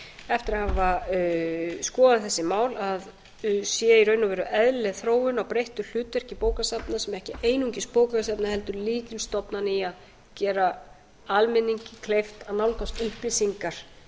eftir að hafa skoðað þessi mál að séu í raun og veru eðlileg þróun á breyttu hlutverki bókasafna og ekki einungis bókasafna heldur lykilstofnana í að gera almenningi kleift að nálgast upplýsingar